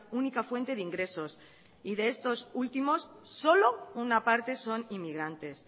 única fuente de ingresos y de estos últimos solo una parte son inmigrantes